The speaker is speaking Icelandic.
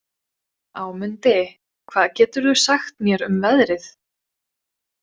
Ámundi, hvað geturðu sagt mér um veðrið?